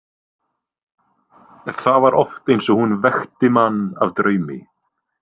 Það var oft eins og hún vekti mann af draumi.